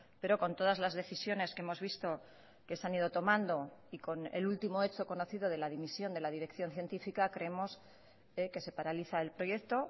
pero con todas las decisiones que hemos visto que se han ido tomando y con el último hecho conocido de la dimisión de la dirección científica creemos que se paraliza el proyecto